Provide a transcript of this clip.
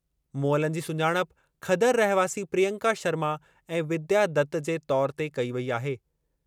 मुअलनि जी सुञाणप खदर रहिवासी प्रियंका शर्मा ऐं विद्या दत जे तौरु ते कई वेई आहे।